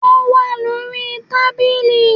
Wọ́n wá lórí tábìlì